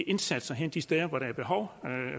indsatserne hen de steder hvor der er behov